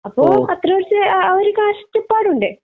അപ്പൊ അത്രേ ദിവസത്തെ അഹ് അഹ് ഒരു കഷ്ടപ്പാട് ഉണ്ട്